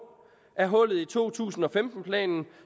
er hullet i to tusind og femten planen